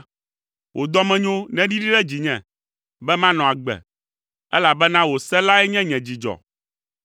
Wò dɔmenyo neɖiɖi ɖe dzinye, be manɔ agbe, elabena wò se lae nye nye dzidzɔ.